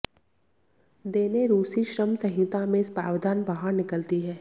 देने रूसी श्रम संहिता में प्रावधान बाहर निकलती है